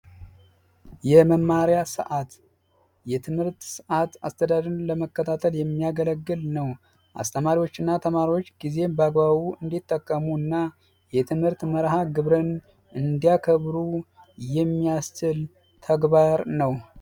የመማሪያ ሰዓት የመማሪያ ሰዓትን ለማስተዳደር የሚያገለግሉ አስተማሪዎችና ተማሪዎች ጊዜን በአግባቡ እንዲጠቀሙ የትምህርት መርሐግብርን እንዲያከብሩ የሚያስችል ተግባር ነው።